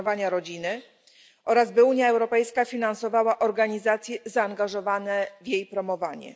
rodziny, oraz by Unia Europejska finansowała organizacje zaangażowane w jej promowanie.